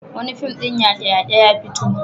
Wani fim ɗin yaƙe-yaƙe ya fito.